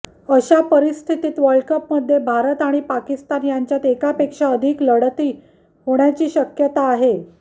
अशा परिस्थितीत वर्ल्डकपमध्ये भारत आणि पाकिस्तान यांच्यात एकापेक्षा अधिक लढती होण्याची शक्यता आहे